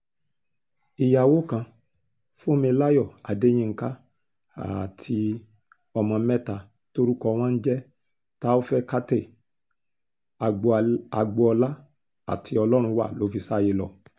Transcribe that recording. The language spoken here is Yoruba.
ìyàwó kan fúnmilayọ adéyinka ààti ọmọ mẹ́ta tórúkọ wọn ń jẹ́ taofèékátẹ agbolá àti ọlọ́runwá ló fi sáyé lọ